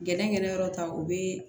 Gɛnɛgɛnɛyɔrɔ ta o bɛ